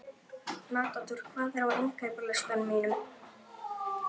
Matador, hvað er á innkaupalistanum mínum?